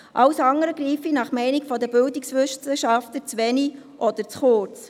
Alles andere greife nach der Meinung der Bildungswissenschaftler zu wenig oder zu kurz.